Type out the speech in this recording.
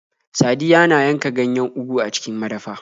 Sadiyya na yanka ganyen Ugu a cikin madafa.